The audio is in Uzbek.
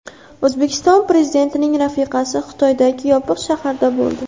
O‘zbekiston Prezidentining rafiqasi Xitoydagi Yopiq shaharda bo‘ldi.